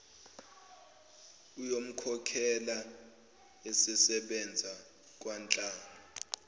uyomkhokhela esesebenza kwanhlanga